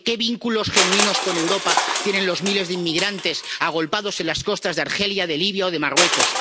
Porque ¿qué vínculos genuinos con Europa tienen los miles de inmigrantes agolpados en las costas de Argelia, de Libia o de Marruecos?